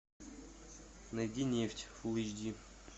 найди нефть фул эйч ди